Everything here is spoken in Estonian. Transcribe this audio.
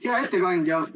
Hea ettekandja!